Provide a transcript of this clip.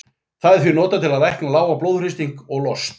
Það er því notað til að lækna lágan blóðþrýsting og lost.